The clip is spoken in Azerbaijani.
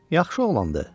Yaxşı oğlandı.